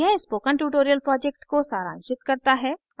यह spoken tutorial project को सारांशित करता है